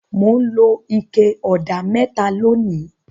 Mò ń lo ike ọ̀dà mẹ́ta lónìí.